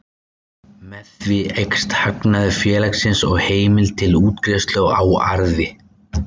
Með því eykst hagnaður félagsins og heimild til útgreiðslu á arði.